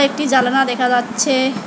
একটি জালানা দেখা যাচ্ছে।